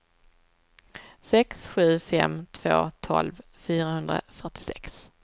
sex sju fem två tolv fyrahundrafyrtiosex